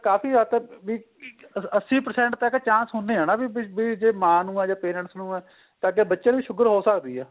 ਕਾਫੀ ਹੱਦ ਤੱਕ ਬੀ ਅੱਸੀ percent ਤਾਂ ਇਹ chance ਹੁੰਨੇ ਏ ਹਨਾ ਵੀ ਜੇ ਮਾਂ ਨੂੰ ਏ ਜਾਂ parents ਨੂੰ ਏ ਤਾਂ ਅੱਗੇ ਬੱਚੇ ਨੂੰ ਵੀ sugar ਹੋ ਸਕਦੀ ਏ